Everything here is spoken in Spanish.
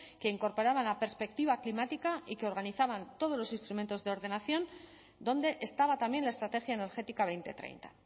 que incorporaban la perspectiva climática y que organizaban todos los instrumentos de ordenación donde estaba también la estrategia energética dos mil treinta